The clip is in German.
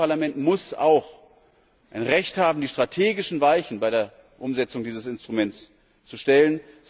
Das nächste Parlament muss auch ein Recht haben, die strategischen Weichen bei der Umsetzung dieses Instruments zu stellen.